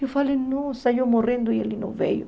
Eu falei, nossa, eu morrendo e ele não veio.